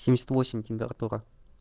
семьдесят восемь температура